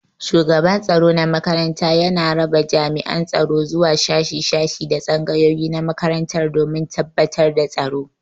Shugaban tsaro na makaranta yana raba jami'an tsaro zuwa shashi shashi da tsangayoyi na makarantar domin tabbatar da tsaro.